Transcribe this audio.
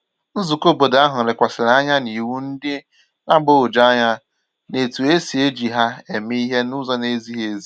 Nzùkọ̀ óbọ̀dò ahu lekwàsịrị anya n’iwu ndị na-agbagwoju anya na etu e si eji ha eme ihe n’ụzọ na-ezighị ezi